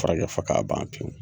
Furakɛ fɔ k'a ban pewu